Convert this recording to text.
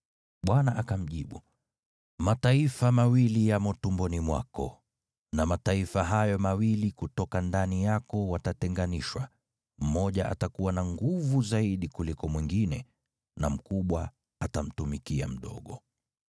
Bwana akamjibu, “Mataifa mawili yamo tumboni mwako, na mataifa hayo mawili kutoka ndani yako watatenganishwa. Mmoja atakuwa na nguvu zaidi kuliko mwingine, na yule mkubwa atamtumikia yule mdogo.”